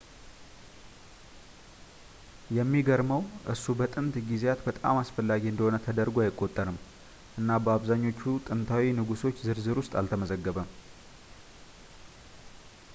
የሚገርመው ፣ እሱ በጥንት ጊዜያት በጣም አስፈላጊ እንደሆነ ተደርጎ አይቆጠርም እና በአብዛኞቹ ጥንታዊ ንጉሶች ዝርዝር ውስጥ አልተመዘገበም